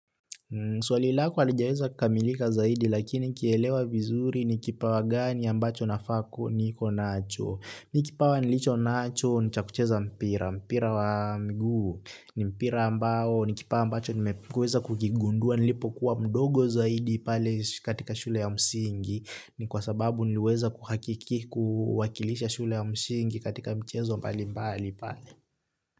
Swali lako halijaweza kukamilika zaidi lakini nikielewa vizuri ni kipawa gani ambacho nafaa niko nacho. Mi kipawa nilicho nacho ni cha kucheza mpira mpira wa mguu ni mpira ambao ni kipawa ambacho nimeweza kukigundua nilipokuwa mdogo zaidi pale katika shule ya msingi ni kwa sababu nilweza kuhakiki kuhakilisha shule ya msingi katika mchezo mbali mbali pale.